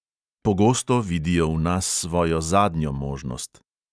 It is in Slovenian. Pogosto vidijo v nas svojo zadnjo možnost.